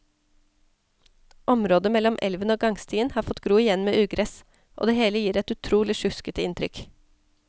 Området mellom elven og gangstien har fått gro igjen med ugress, og det hele gir et utrolig sjuskete inntrykk.